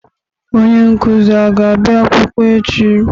Onye nkụzi a ga-abị akwụkwọ echi?